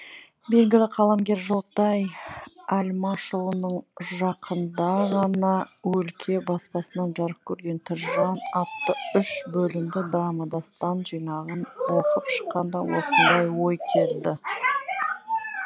белгілі қаламгер жолтай әлмашұлының жақында ғана өлке баспасынан жарық көрген тірі жан атты үш бөлімді драма дастан жинағын оқып шыққанда осындай ой келді